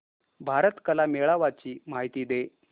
भारत कला मेळावा ची माहिती दे